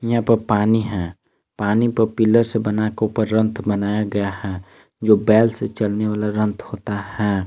यहां पे पानी है पानी को पिलर से बना के ऊपर रंत बनाया गया है जो बोल से चलने वाला रंत होता है।